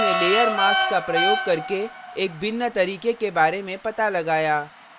और उसने layer mask का प्रयोग करके एक भिन्न तरीके के बारे में पता लगाया